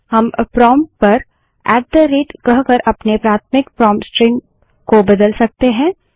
हम प्रोंप्ट पर at the rate ltgt कहकर अपने प्राथमिक प्रोंप्ट स्ट्रिंग को बदल सकते हैं